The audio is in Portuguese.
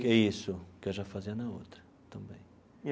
Isso, que eu já fazia na outra também.